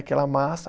Aquela massa.